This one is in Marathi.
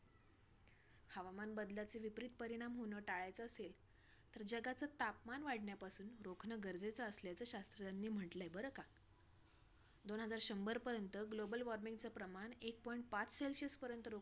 हवामान बदलाचे विपरीत परिणाम होणं टाळायचं असेल, तर जगाचं तापमान वाढण्यापासून रोखणं गरजेचं असल्याचं शास्त्रज्ञांनी म्हटलंय. बरं का? दोन हजार शंभरपर्यंत global warming च प्रमाण एक point पाच celsius पर्यंत